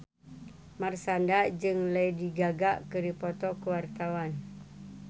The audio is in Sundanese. Marshanda jeung Lady Gaga keur dipoto ku wartawan